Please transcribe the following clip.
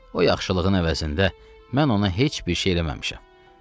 O yaxşılığın əvəzində mən ona heç bir şey eləməmişəm.